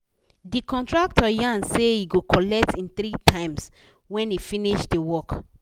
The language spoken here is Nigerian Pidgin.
the contractor yan say he go colet him 3 times when he finish the work